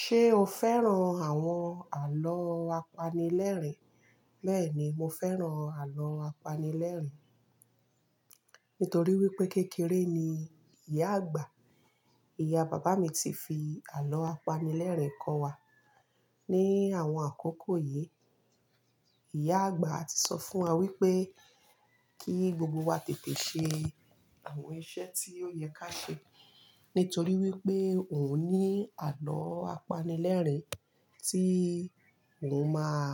Ṣé o fẹ́ràn àwọn àlọ́ apanilẹ́rìn? Bẹ́ẹ̀ni, mo fẹ́ràn àlọ́ apanilẹ́rìn nítorí wípé kékeré ni ìyá àgbà, ìyá bàbá mi ti fi àlọ́ apanilẹ́rìn kọ́ wa. Ni àwọn àkókò yìí, ìyá àgbà ti sọ fún wa wípé kí gbogbo wa tètè ṣe àwọn iṣẹ́ tí ó yẹ ká ṣe nítorí wípé òun ní àlọ́ apanilẹ́rìn tí òhun máa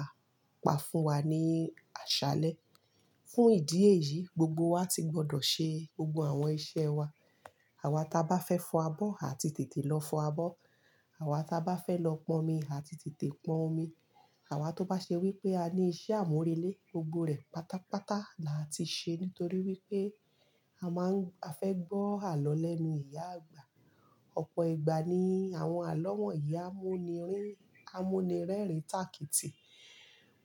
pa fún wa ní àṣálẹ́. Fún ìdí èyí, gbogbo wa ti gbọdọ̀ ṣe gbogbo àwọn iṣẹ́ wa. Àwa ta bá fẹ́ fọ abọ́ a ti tètè lọ fọ abọ́, àwa ta bá fẹ́ lọ pọn omi a ti tètè pọn omi. Àwa tó bá ṣe wípé a ní iṣẹ́ àmúrelé gbogbo rẹ̀ pátápátá là ti ṣe nítorí wípé a máa ń, a fẹ́ gbọ́ àlọ́ lẹ́nu ìyá àgbà. Ọ̀pọ̀ ìgbà ni àwọn wọnyí á mú ni rí, á mú ni rẹ́rìn-ín tàkìtì.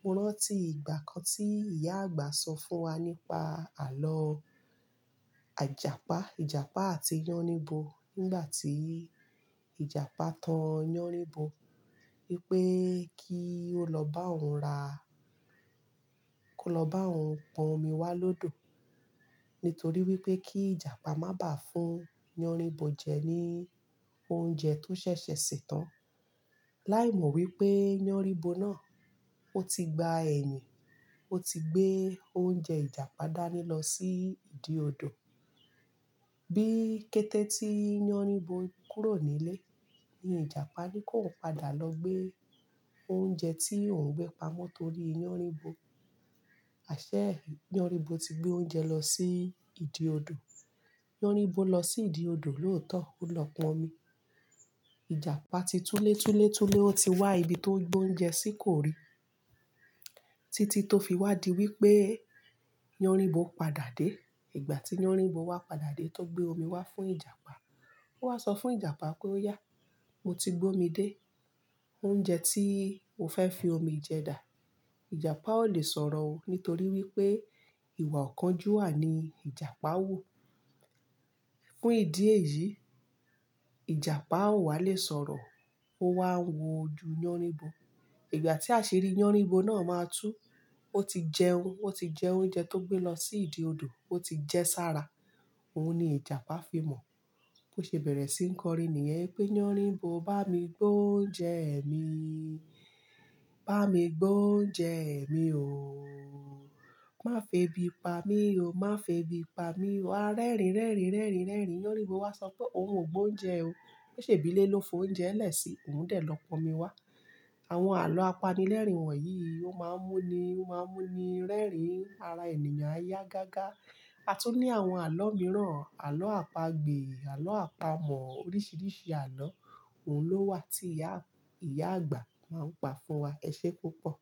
Mo rántí ìgbà kan tí ìyá àgbà sọ fún wa nípa àlọ́ àjàpá, ìjàpá àti yánnibo nígbà tí ìjàpá tan yánnibo wípé kí ó lọ bá òhun ra, kó lọ bá òun pọn omi wá lọ́dọ̀ nítorí wípé kí ìjàpá má bà fún yánribo jẹ ní oúnjẹ tó ṣẹ̀ṣẹ̀ ṣè tán. Láìmọ̀ wípé yánnibo náà ó ti gba ẹ̀yìn, ó ti gbé oúnjẹ ìjàpá dání lọ sí ìdí odò. Bí kété tí yánnibo kúrò nílé ni ìjàpá ní kó padà lọ gbé oúnjẹ tí òun gbé pamọ́ torí yánnibo. Àṣé yánnibo ti gbé oúnjẹ lọ sí ìdí odò. Yánnibo lọ sí ìdí odò lóòótọ́ ó lọ pọn omi. Ìjàpá ti túlé túlé túlé ó ti wá ibi tó gbé oúnjẹ sí kò rí. Títí tó fi wádìí wípé yánníbo padà dé. Ìgbà tí yánníbo wá padà dé tó gbé omi wá fún ìjàpá. Ó wá sọ fún ìjàpá pé "óyà mo ti gbé omi dé, oúnjẹ tí o fẹ́ fi omi jẹ dà." Ìjàpá ò lè sọ̀rọ̀ o nítorí wípé ìwà ọ̀kánjú wà ní ìjàpá wù Fún ìdí èyí, ìjàpá ò wá lè sọ̀rọ̀ ó wá ń wo ju yánníbo. Ìgbà tí àṣirí yánníbo náà máa tú ó ti jẹun, ó ti jẹ oúnjẹ tó gbé lọ sí ìdí odò, ó ti jẹ sára òhun ni ìjàpá fi mọ̀. Ó ṣe bẹ̀rẹ̀ sí ń kọrin nìyẹn wípé "yánníbo bá mi gbé oúnjẹ ẹ̀ mi, bá mi gbé oúnjẹ ẹ̀ mi o, má febi pa mí o, má febi pa mí o." A rẹ́rìn rẹ́rìn rẹ́rìn rẹ́rìn yánníibo wá sọ pé òun ò gbé oúnjẹ o. Ó ṣe bílé ló fọ oúnjẹ ẹ́lẹ̀ sí òun lòun dè lọ pọn omi wá. Àwọn àlọ́ apanilẹ́rìn wọ̀nyí ó máa ń mú ni, ó máa ń mú ni rẹ́rìn-ín ara ènìyàn yá gágá. A tó ní àwọn àlọ́ mìíràn, àlọ́ àpagbè, àlọ́ àpamọ̀ oríṣiríṣi àlọ́ òun ló wà tí ìyá, ìyá àgbà máa ń pa fún wa. Ẹ ṣé púpọ̀.